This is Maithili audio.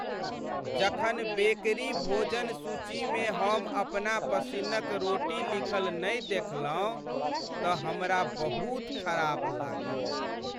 जखन बेकरी भोजन सूचीमे हम अपना पसिन्नक रोटी लिखल नहि देखलहुँ तऽ हमरा बहुत खराप लागल।